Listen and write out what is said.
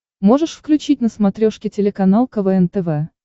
можешь включить на смотрешке телеканал квн тв